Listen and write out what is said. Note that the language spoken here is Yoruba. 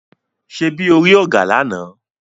Ṣebí o rí ògà lána?